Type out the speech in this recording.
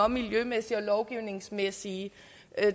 miljømæssige og lovgivningsmæssige